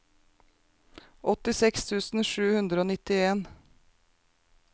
åttiseks tusen sju hundre og nittien